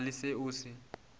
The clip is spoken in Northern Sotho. go na le se o